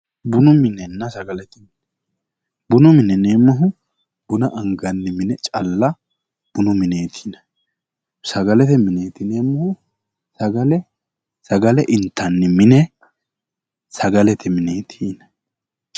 Bunu minenna sagalete mine ,bunu mine yinneemmohu buna anganni mine calla bunu mineti yinneemmo, sagalete mine kayinni sagale intanni sagalete mineti yinneemmo